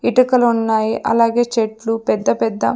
ఇటుకలున్నాయి అలాగే చెట్లు పెద్ద పెద్ద--